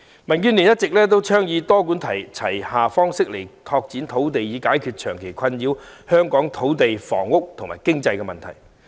民主建港協進聯盟一直倡議以多管齊下的方式拓展土地，以解決長期困擾香港的土地、房屋和經濟問題。